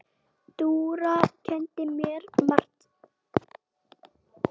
Dúra kenndi mér margt.